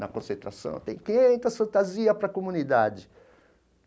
na concentração, tem quinhentas fantasias para a comunidade.